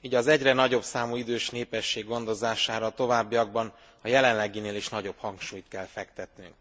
így az egyre nagyobb számú idős nép gondozására a továbbiakban a jelenleginél is nagyobb hangsúlyt kell fektetnünk.